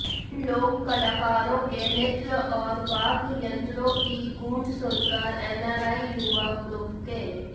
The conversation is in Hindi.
इन लोक कलाकारों के नृत्य और वाद्ययंत्रों की गूंज सुनकर एनआरआई युवा ग्रुप के